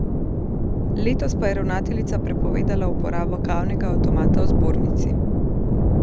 Letos pa je ravnateljica prepovedala uporabo kavnega avtomata v zbornici.